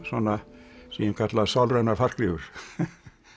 svona sem ég kalla sálrænar fallgryfjur